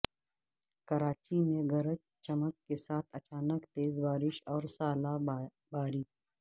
کراچی میں گرج چمک کے ساتھ اچانک تیزبارش اور ژالہ باری